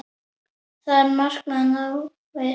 Það markmið náðist.